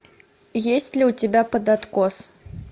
есть ли у тебя под откос